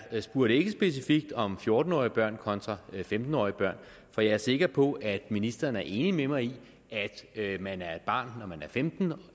spurgte ikke specifikt om fjorten årige børn kontra femten årige børn og jeg er sikker på at ministeren er enig med mig i at man er et barn når man er femten